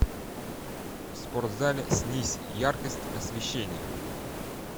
в спортзале снизь яркость освещения